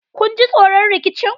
kun ji tsoron rikicin?